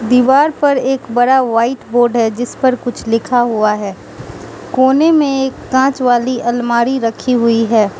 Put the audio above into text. दीवार पर एक बड़ा वाइट बोर्ड है जिस पर कुछ लिखा हुआ है कोने में एक कांच वाली अलमारी रखी हुई है।